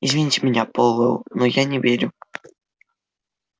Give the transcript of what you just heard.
извините меня пауэлл но я не верю